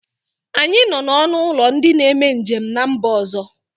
Anyị nọ na ọnụ ụlọ ndị na-eme njem n'mba ọzọ